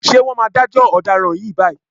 Ṣé wọ́n máa dájọ́ ọ̀daràn yìí báyìí?